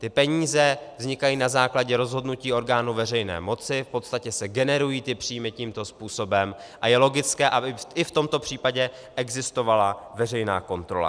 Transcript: Ty peníze vznikají na základě rozhodnutí orgánu veřejné moci, v podstatě se generují ty příjmy tímto způsobem a je logické, aby i v tomto případě existovala veřejná kontrola.